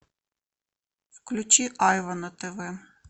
включи айва на тв